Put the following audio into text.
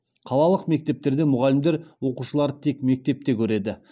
қалалық мектептерде мұғалімдер оқушыларды тек мектепте көреді